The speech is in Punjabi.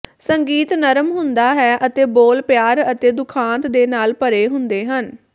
ਸੰਗੀਤ ਨਰਮ ਹੁੰਦਾ ਹੈ ਅਤੇ ਬੋਲ ਪਿਆਰ ਅਤੇ ਦੁਖਾਂਤ ਦੇ ਨਾਲ ਭਰੇ ਹੁੰਦੇ ਹਨ